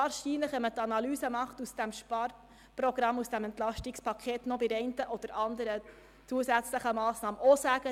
Nach einer Analyse dieses Sparprogramms könnte man dies jedoch wahrscheinlich über die eine oder andere weitere Massnahme auch sagen.